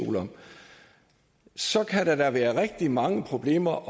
joel om så kan der da kan være rigtig mange problemer